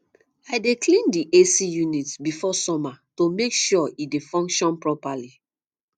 i dey clean the ac unit before summer to make sure e dey function properly